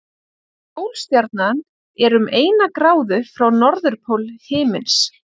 Pólstjarnan er um eina gráðu frá norðurpól himins.